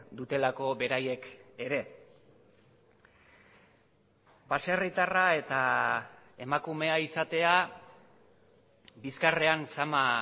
dutelako beraiek ere baserritarra eta emakumea izatea bizkarrean zama